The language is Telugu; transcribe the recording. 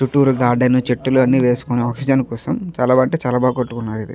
చుట్టూరు గార్డెను చెట్టులోని వేసుకొని ఆక్సిజన్ కోసం చాలా బాగా అంటే చాలా బాగా కట్టుకున్నారు ఇది.